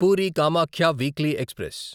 puri Kamakhya weekly express